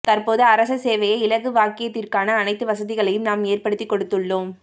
தற்போது அரச சேவையை இலகுவாக்கியதற்கான அனைத்து வசதிகளையும் நாம் ஏற்படுத்திக் கொடுத்துள்ளோம்